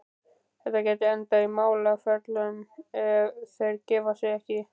Þetta gæti endað í málaferlum, ef þeir gefa sig ekki.